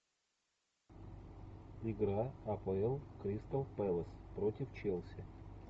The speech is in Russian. игра апл кристал пэлас против челси